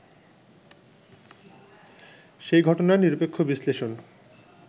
সেই ঘটনার নিরপেক্ষ বিশ্লেষণ